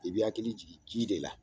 I bɛ i hakili jigin ji de la.